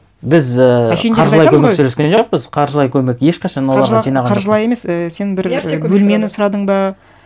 біз і қаржылай көмек сөйлескен жоқпыз қаржылай көмек ешқашан оларға жинаған жоқпын қаржылай емес сен бір бөлмені сұрадың ба